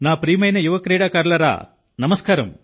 నా ప్రియమైన యువ క్రీడాకారులారా నమస్కారం